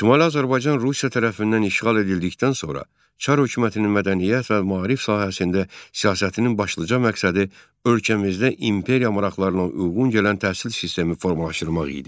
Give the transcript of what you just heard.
Şimali Azərbaycan Rusiya tərəfindən işğal edildikdən sonra Çar hökumətinin mədəniyyət və maarif sahəsində siyasətinin başlıca məqsədi ölkəmizdə imperiya maraqlarına uyğun gələn təhsil sistemi formalaşdırmaq idi.